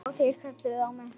Já, þeir, kjamsar hún.